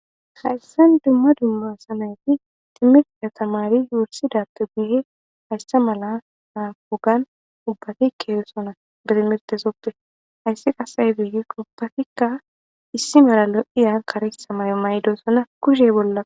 Hayisani dumma dumma tamare nayiti timirita tamari wurisidappe guyeni hayisa mala ogiyani ubatikka deosoona hayisi qasi ayine gikko ubbatikka issi mala loiya kareththa mayo mayidodona kushe bola